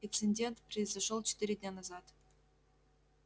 инцидент произошёл четыре дня назад